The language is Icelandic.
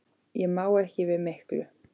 Ég má ekki við miklu.